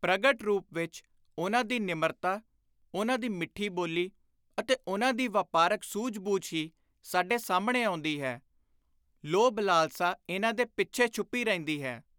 ਪ੍ਰਗਟ ਰੁਪ ਵਿਚ ਉਨ੍ਹਾਂ ਦੀ ਨਿਮਰਤਾ, ਉਨ੍ਹਾਂ ਦੀ ਮਿੱਠੀ ਬੋਲੀ ਅਤੇ ਉਨ੍ਹਾਂ ਦੀ ਵਾਪਾਰਕ ਸੁਝ-ਬੁਝ ਹੀ ਸਾਡੇ ਸਾਹਮਣੇ ਆਉਂਦੀ ਹੈ, ਲੋਭ-ਲਾਲਸਾ ਇਨ੍ਹਾਂ ਦੇ ਪਿੱਛੇ ਛੁਪੀ ਰਹਿੰਦੀ ਹੈ।